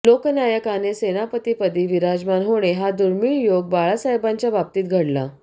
लोकनायकाने सेनापतीपदी विराजमान होणे हा दुर्मिळ योग बाळासाहेबांच्या बाबतीत घडला